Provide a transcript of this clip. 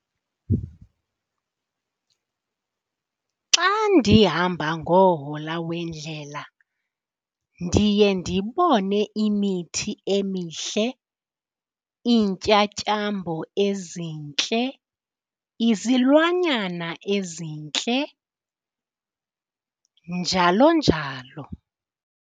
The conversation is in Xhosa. Xa ndihamba ngohola wendlela ndiye ndibone imithi emihle, iintyatyambo ezintle, izilwanyana ezintle njalo njalo.